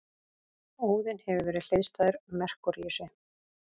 Óðinn hefur verið hliðstæður Merkúríusi.